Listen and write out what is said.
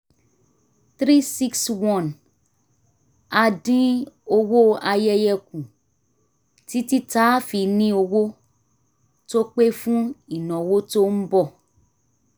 three hundred sixty one a dín owó ayẹyẹ kù títí tá a fi ní owó tó pé fún ìnáwó tó ń bọ̀